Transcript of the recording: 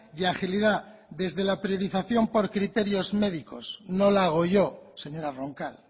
y agilidad desde la priorización por criterios médicos no la hago yo señora roncal